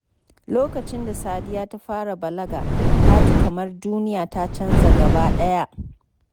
Lokacin da Sadiya ta fara balaga, ta ji kamar duniya ta canza gaba ɗaya.